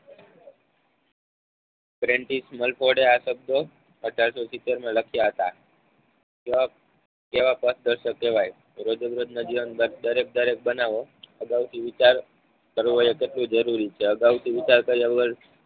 પ્રેનધીસ મલકોડે આ શબ્દો અઢારસો સિત્તેરમા લખાયા હતા. કેવા પથદર્શક કહેવાય રોજેરોજના જીવન બાદ દરેક દરેક બનાવો અગાઉથી વિચાર કરવો એ કેટલું જરૂરી છે અગાઉથી વિચાર કાર્ય વગર